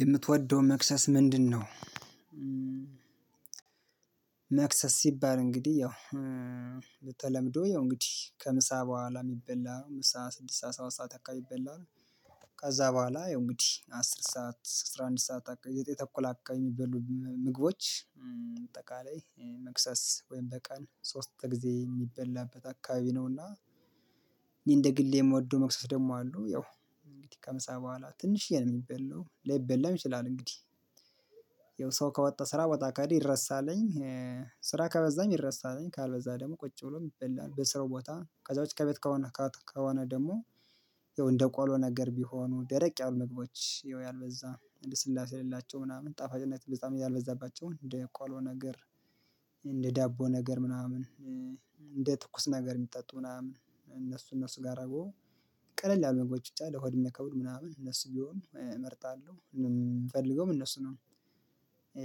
የምትወደው መክሰስ ምንድነው? መክሰስ ሲባል እንግዲህ ያው በተለምዶ ያው እንግዲህ ከምሳ በኋላ የሚበላ ነው ምሳ ስድስት ሰዓት አካባቢ ይበላል ነው። ከዛ በኋላ ይሄ እንግዲህ አስር ሰዓት አስራ አንድ ሰዓት የተኮላ አካባቢ የሚበሉ ምግቦች በአጠቃላይ መክሰስ ወይም በቃል ሶስት ጊዜ የሚበላበት አካባቢ ነውና። እንደ ግሌ የምወደው መክሰስ ደግሞ አሉ ያው እንግዲህ ከምሳ በኋላ ትንሽዬ ነው የሚበላው ላይበላም ይችላል እንግዲህ ያው ሰው ከወጣ ስራ ቦታ ከሄደ ይረሳልኝ። ስራ ከበዛም ይረሳለኝ ካልበዛ ደግሞ ቁጭ ብሎ ይበላል በስራ ቦታ ከዛ ውጪ ከቤት ከሆነ ከሆነ ደግሞ። እንደ ቆሎ ነገር ቢሆኑ ደረቅ ያሉ ምግቦች ይኸው ያልበዛ እንደ ስላሴ የሌላቸው ምናምን ጣፋጭነት እንደ ዛሬ ያልበዛባቸውን እንደ ቋሎ ነገር። እንደ ዳቦ ነገር ምናምን እንደ ትኩስ ነገር የሚጠጡ ምናምን እነሱ እነሱ ጋር አብሮ። ቀለል ያሉ ምግቦች ብቻ ለሆድ የማይከብዱ ምናምን እነሱ ቢሆን እመርጣለሁእምፈልገውም እነሱ ነው።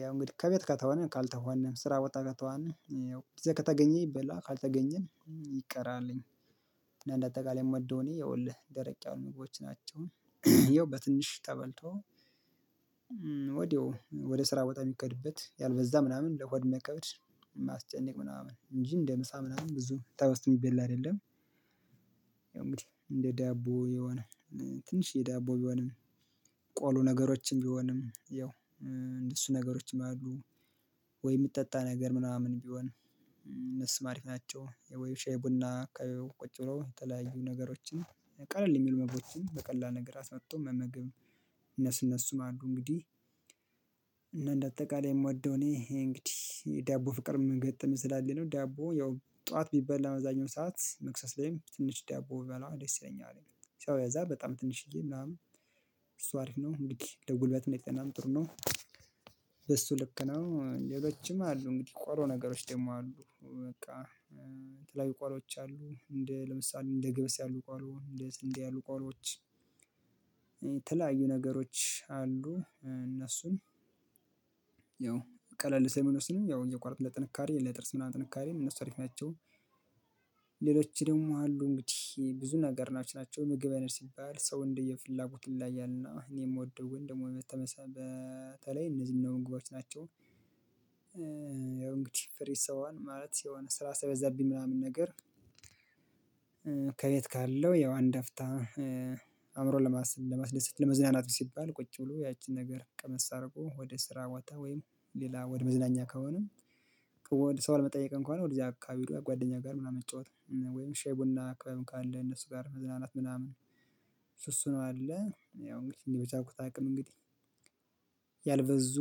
ያው እንግዲህ ከቤት ከተሆነ ካልተሆነ ስራ ቦታ ከተሆነ ጊዜ ከተገኘ ይበለዋል ካልተገኘ ይቀራልኝ። እንደአጠቃላይ መዶኔ የወልህ ደረቅ ያሉ ምግቦች ናቸው። ይኸው በትንሽ ተበልቶ ወዲያው ወደ ስራ ቦታ የሚኬድበት ያልበዛ ምናምን ለሆድ የምይከብድ የማያስጨንቅ ምናምን እንጂ እንደ ምሳ ምናምን ብዙ ተበዝቶ የሚበላ አይደለም። ያው እንግዲህ እንደ ዳቦ የሆነ ትንሽ የዳቦ ቢሆንም ቆሎ ነገሮችን ቢሆንም ያው እንደሱ ነገሮችን ነው ያሉት። ወይ የሚጠጣ ነገር ምናምን ቢሆን እነሱም አሪፍ ናቸው። ወይ ሻይ ቡና ቁጭ ብሎ የተለያዩ ነገሮችን ቀለል የሚል ምግቦችን በቀላል ነገር አሰናቶ መመገብም እነሱ እነሱም አሉ። እንግዲህ እና እንደ አጠቃላይ የምወደው እኔ ይሄ እንግዲህ ዳቦ ፍቅር መገጠም ስላለኝ ነው ዳቦ ያው ጠዋት ቢበላ አብዛኛው ሰዓት መክሰስ ላይም ትንሽ ዳቦ ብበላ ደስ ይለኛል ያው ያልበዛ በጣም ትንሽዬ ምናምን እሱ አሪፍ ነው እንዲህ ለጉልበትም ለጤናም ጥሩ ነው። በሱ ልክ ነው ሌሎችም አሉ እንግዲህ ቆሎ ነገሮችም ደግሞ አሉ በቃ። የተለያዩ ቆሎወች አሉ እንደ ለምሳሌ እንደ ገብስ ያሉ ቆሎ እንደ ስንዴ ያሉ ቆሎወች። የተለያዩ ነገሮች አሉ እነሱን ያው ቀለል ስለሚሉ እነሱንም ያው እየቋረጥነ ለጥንካሬ ለጥርስ ምናምን ጥንካሬን እነሱ አሪፍ ናቸው። ሌሎች ደግሞ አሉ እንግዲህ ብዙ ነገር ናቸው ምግብ አይነት ሲባል ሰው እንደየ ፍላጎቱ ይለያያል እና እኔ የምወደው ወይም ደግሞ በተለይ እነዚህን ምግቦች ናቸው። ያው እንግዲህ ፍሪ ስሆን ማለት የሆነ ስራ ሳይበዛብኝ ምናምን ነገር። ከቤት ካለው ያው አንድ አፍታ አእምሮን ለማስደሰት ለመዝናናት ሲባል ቁጭ ብሎ ያቺን ነገር ቀመስ አድርጎ ወደ ስራ ቦታ ወይም ሌላ ወደ መዝናኛ ከሆነም። ከወደ ሰው ለመጠየቅም ከሆነ ወደዚያ አካባቢ ጓደኛ ጋር ምናምን መጫወት ወይም ሻይ ቡን ክበብም ካለ እነሱ ጋር መዝናናት ምናምን። ስሱ ነው ያለ ያው እንግዲህ እኔ በቻኩት አቅም እንግዲህ። ያልበዙ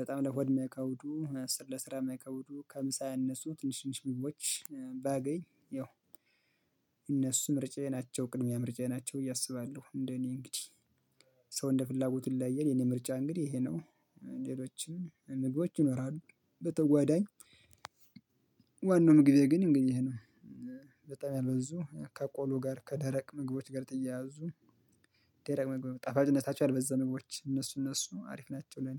በጣም ለሆድ የማይከብዱ ለስራ የማይከብዱ ከምሳ ያነሱ ትንሽ ትንሽ ምግቦች ባገኝ ያው። እነሱ ምርጫዬ ናቸው ቅድሚያ ምርጫዬ ናቸው ብዬ አስባለሁ። እንደኔ እንግዲህ ሰው እንደ ፍላጎት ይለያያል የኔ ምርጫ እንግዲህ ይሄ ነው። ሌሎችን ምግቦች ይኖራሉ በተጓዳኝ ዋናው ምግቤ ግን እንግዲህ ነው። በጣም ያልበዙ ከቆሎ ጋር ከደረቅ ምግቦች ጋር ተያያዙ። ደረቅ ምግብ ጣፋጭነታቸው ያልበዛ ምግቦች እነሱ እነሱ አሪፍ ናቸው። ለኔ